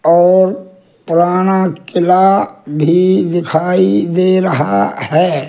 और पुराना किला भी दिखाई दे रहा है।